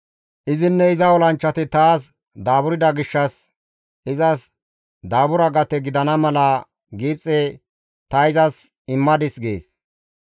Izinne iza olanchchati taas daaburda gishshas izas daabura gate gidana mala Gibxe ta izas immadis› gees.